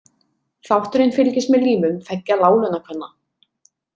Þátturinn fylgist með lífum tveggja láglauna-kvenna.